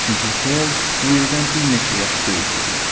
Çünki Hell Willdən bir neçə yaş böyük idi.